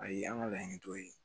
Ayi an ka laɲini dɔ ye